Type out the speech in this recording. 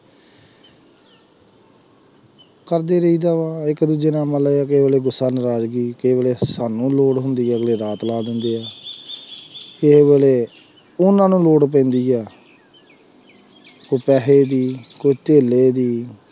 ਇੱਕ ਦੂਜੇ ਨਾਲ ਮਤਲਬ ਗੁੱਸਾ ਨਰਾਜ਼ਗੀ ਸਾਨੂੰ ਲੋੜ ਹੁੰਦੀ ਅਗਲੇ ਰਾਤ ਲਾ ਦਿੰਦੇ ਹੈ ਕਿਸੇ ਵੇਲੇ ਉਹਨਾਂ ਨੂੰ ਲੋੜ ਪੈਂਦੀ ਹੈ ਕੋਈ ਪੈਸੇ ਦੀ ਕੋਈ ਧੇਲੇ ਦੀ